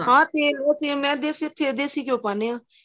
ਹਾਂ ਤੇਲ ਮੈਂ ਤੇ ਦਸੀਂ ਘਿਓਂ ਪਾਂਣੇ ਹਾਂ